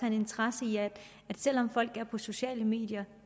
en interesse i at selv om folk er på sociale medier